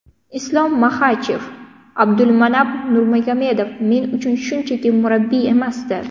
Islom Maxachev: Abdulmanap Nurmagomedov men uchun shunchaki murabbiy emasdi.